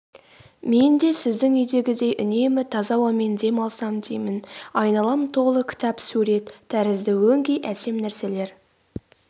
мен де сіздің үйдегідей үнемі таза ауамен дем алсам деймін айналам толы кітап сурет тәрізді өңкей әсем нәрселер